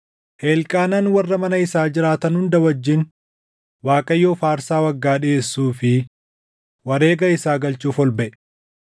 Elqaanaan warra mana isaa jiraatan hunda wajjin Waaqayyoof aarsaa waggaa dhiʼeessuu fi wareega isaa galchuuf ol baʼe;